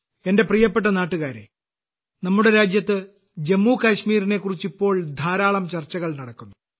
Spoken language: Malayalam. എന്റെ പ്രിയപ്പെട്ട നാട്ടുകാരേ നമ്മുടെ രാജ്യത്ത് ജമ്മു കാശ്മീരിനെക്കുറിച്ച് ഇപ്പോൾ ധാരാളം ചർച്ചകൾ നടക്കുന്നു